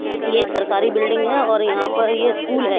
ये एक सरकारी बिल्डिंग है और यहां पर ये स्कूल है।